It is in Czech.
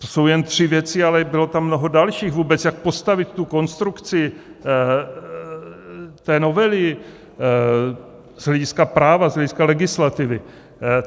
To jsou jen tři věci, ale bylo tam mnoho dalších, jak vůbec postavit tu konstrukci té novely z hlediska práva, z hlediska legislativy.